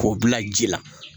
K'o bila ji la